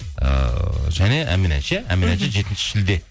ыыы және ән мен әнші ән мен әнші жетінші шілде